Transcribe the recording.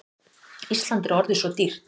Ísland er orðið svo dýrt.